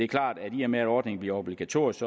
klart at i og med at ordningen bliver obligatorisk